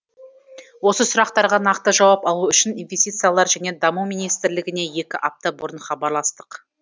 осы сұрақтарға нақты жауап алу үшін инвестициялар және даму министрлігіне екі апта бұрын хабарластық